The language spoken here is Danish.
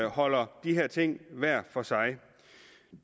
holder de her ting hver for sig